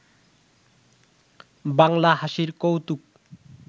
বাংলা হাসির কৌতুক